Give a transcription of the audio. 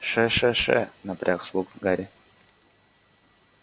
ш-ш-ш напряг слух гарри